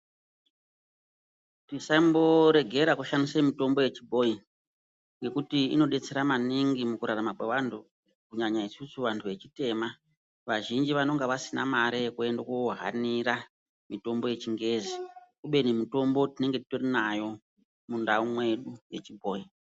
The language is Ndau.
Musamboregera kushandise mutombo yechibhoyi ngekuti inodetsera maningi mukurarama kwaanhu kunyanya isusu vantu vechitema vazhinji vanenga vasina mare yekuende kohanira mitombo yechingezi kubeni mutombo tinenge titori nayo mundau mwedu yechibhoyi.